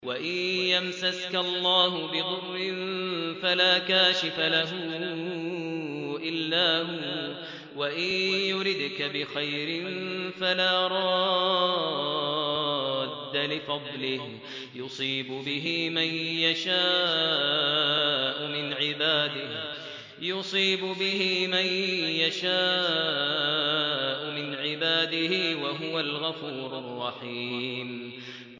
وَإِن يَمْسَسْكَ اللَّهُ بِضُرٍّ فَلَا كَاشِفَ لَهُ إِلَّا هُوَ ۖ وَإِن يُرِدْكَ بِخَيْرٍ فَلَا رَادَّ لِفَضْلِهِ ۚ يُصِيبُ بِهِ مَن يَشَاءُ مِنْ عِبَادِهِ ۚ وَهُوَ الْغَفُورُ الرَّحِيمُ